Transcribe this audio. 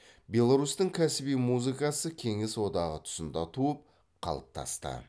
беларусьтің кәсіби музыкасы кеңес одағы тұсында туып қалыптасты